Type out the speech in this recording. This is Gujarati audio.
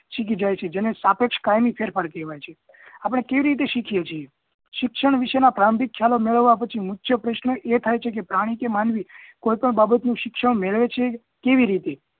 શીખી જાય છે જેને સાપેક્ષ કાયમી ફેરફાર કહેવાય છે આપણને કઈ રીતે શીખીએ છીએ શિક્ષણ વિશે ના પ્રારંભિક ખ્યાલો મેળવ્યા પછી ઉચ્ચ પ્રશ્ન એ થાય છે કે પ્રાણી કે માનવી કોઈ પણ બાબતનું શિક્ષણ મેળવે છે કેવી રીતે